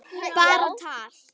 Bara tal.